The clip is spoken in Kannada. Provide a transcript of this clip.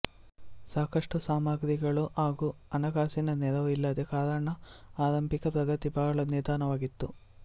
ಸಾಕಷ್ಟು ಸಾಮಗ್ರಿಗಳು ಹಾಗೂ ಹಣಕಾಸಿನ ನೆರವು ಇಲ್ಲದ ಕಾರಣ ಆರಂಭಿಕ ಪ್ರಗತಿ ಬಹಳ ನಿಧಾನವಾಗಿತ್ತು